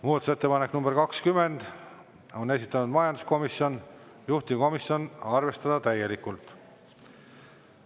Muudatusettepanek nr 20, on esitanud majanduskomisjon, juhtivkomisjon: arvestada täielikult.